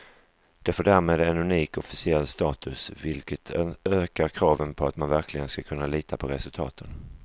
Det får därmed en unik officiell status, vilket ökar kraven på att man verkligen ska kunna lita på resultaten.